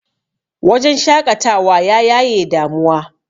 wajen shaƙatawa ya yaye damuwa